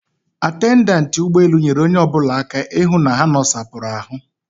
Atendantị ụgbọelu nyere onye ọbụla aka ịhụ na ha nosapụrụ ahụ